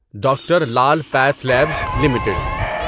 doctor Lal path labs limited